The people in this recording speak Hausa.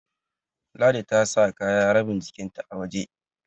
Ladi ta sa kaya rabin jikinta a waje